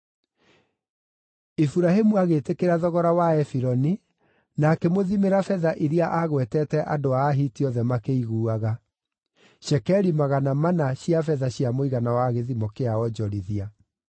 Iburahĩmu agĩĩtĩkĩra thogora wa Efironi na akĩmũthimĩra betha iria aagwetete andũ a Ahiti othe makĩiguaga; cekeri magana mana cia betha cia mũigana wa gĩthimo kĩa onjorithia.